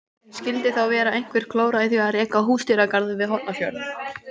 En skildi þá vera einhver glóra í því að reka húsdýragarð við Hornafjörð?